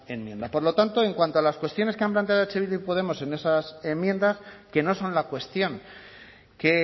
enmienda por lo tanto en cuanto a las cuestiones que han planteado eh bildu y podemos en esas enmiendas que no son la cuestión que